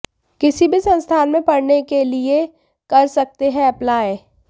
किसी भी संस्थान में पढ़ने के लिए कर सकते हैं अप्लाई